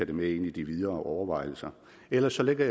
det med ind i de videre overvejelser ellers ligger